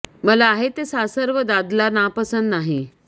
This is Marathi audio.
मला आहे ते सासर व दादला नापसंत नाही